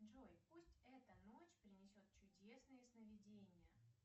джой пусть эта ночь принесет чудесные сновидения